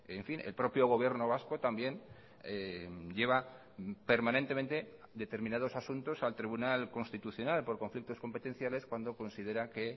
en fin el propio gobierno vasco también lleva permanentemente determinados asuntos al tribunal constitucional por conflictos competenciales cuando considera que